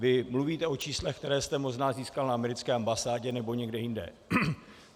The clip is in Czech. Vy mluvíte o číslech, která jste možná získal na americké ambasádě nebo někde jinde.